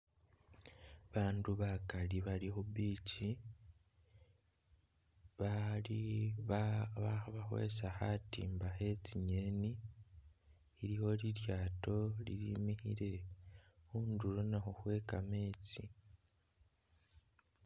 Bandu bakaali bali khu'beach bali ba ba khabakhwesa khatimba khe tsi'ngeni, iliwo lilyaato lilimikhile khundulo nakhwo khwe kameetsi